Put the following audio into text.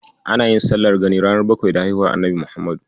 Ana yin sallar gani ranar bakwai da haihuwar Annabi Muhammad.